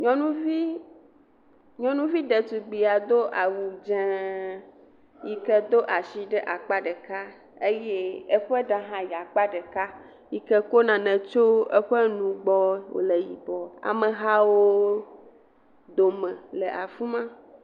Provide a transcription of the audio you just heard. Nyɔnuvi ɖetugbuia do awu dzeŋ yi ke do ashi ɖe akpa ɖeka, eye eƒe ɖa hã yi akpa ɖeka, yi ke ko nane tso eƒe nu gbɔ wole yibɔ, Amehawo dome le afima.